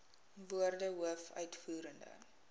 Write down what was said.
woorde hoof uitvoerende